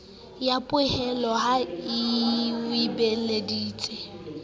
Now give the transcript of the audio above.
ya poello ha o beeleditse